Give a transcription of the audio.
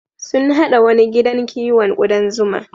Sun haɗa wani gidan kiwon ƙudan zuma.